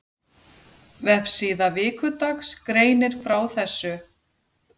Vefsíða Vikudags greinir frá þessu.